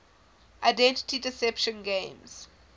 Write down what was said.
identity deception games